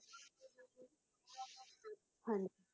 ਹਾਂਜੀ